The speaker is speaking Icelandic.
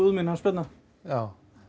mín hans Bjarna